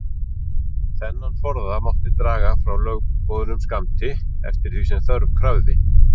Þennan forða mátti draga frá lögboðnum skammti, eftir því sem þörf krafði.